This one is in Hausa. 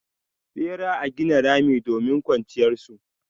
Bera a gina rami domin kwanciyar su.